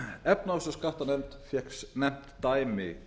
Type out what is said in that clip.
efnahags og skattanefnd fékk nefnt dæmi